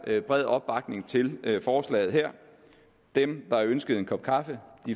bred opbakning til forslaget her dem der ønsker en kop kaffe